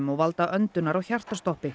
og valda öndunar og hjartastoppi